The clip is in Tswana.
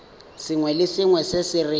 sengwe le sengwe se re